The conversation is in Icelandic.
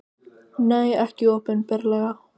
Nei, ekki opinberlega.